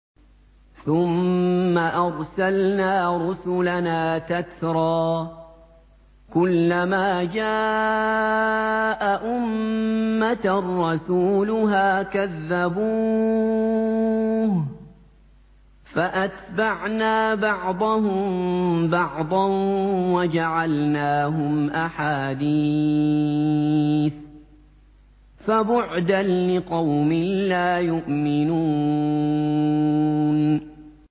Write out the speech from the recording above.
ثُمَّ أَرْسَلْنَا رُسُلَنَا تَتْرَىٰ ۖ كُلَّ مَا جَاءَ أُمَّةً رَّسُولُهَا كَذَّبُوهُ ۚ فَأَتْبَعْنَا بَعْضَهُم بَعْضًا وَجَعَلْنَاهُمْ أَحَادِيثَ ۚ فَبُعْدًا لِّقَوْمٍ لَّا يُؤْمِنُونَ